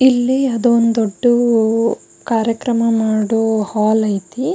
ಇಲ್ಲಿ ಅದೊಂದು ದೊಡ್ಡ ಕಾರ್ಯಕ್ರಮ ಮಾಡೊ ಹಾಲ್ ಐತಿ --